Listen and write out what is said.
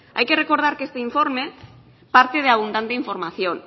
hay que recordar que este informe parte de abundante información